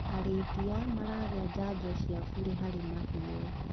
Arĩithia maragĩa janjo cia bure harĩ mahiũ.